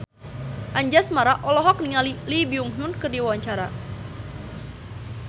Anjasmara olohok ningali Lee Byung Hun keur diwawancara